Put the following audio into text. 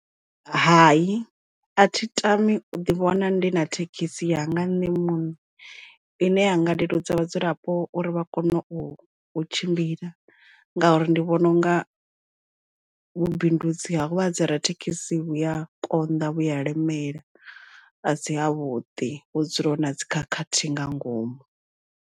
Hai a thi tami u ḓi vhona ndi na thekhisi yanga nṋe muṋe ine ya nga leludza vhadzulapo uri vha kone u tshimbila nga uri ndi vhona unga vhubindudzi ha uvha dzi rathekhisi vhuya konḓa vhuya lemela a si havhuḓi hu dzula hu na dzi khakhathi nga ngomu.